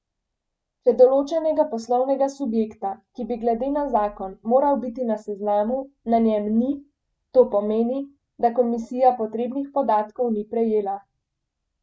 Če določenega poslovnega subjekta, ki bi glede na zakon moral biti na seznamu, na njem ni, to pomeni, da komisija potrebnih podatkov ni prejela.